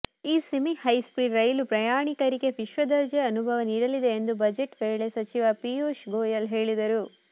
ಈ semi high speed ರೈಲು ಪ್ರಯಾಣಿಕರಿಗೆ ವಿಶ್ವದರ್ಜೆ ಅನುಭವ ನೀಡಲಿದೆ ಎಂದು ಬಜೆಟ್ ವೇಳೆ ಸಚಿವ ಪೀಯೂಶ್ ಗೋಯಲ್ ಹೇಳಿದರು